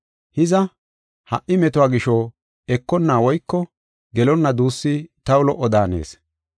Hiza, ha77i metuwa gisho, ekonna woyko gelonna duussi taw lo77o daanees.